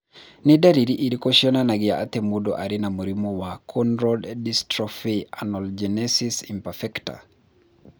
Nĩ ndariri irĩkũ cionanagia atĩ mũndũ arĩ na mũrimũ wa Cone rod dystrophy amelogenesis imperfecta?